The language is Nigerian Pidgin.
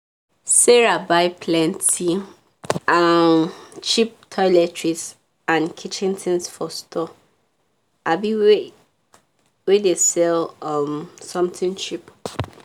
sarah buy plenty um cheap toiletries and kitchen things for store um wey dey sell um something cheap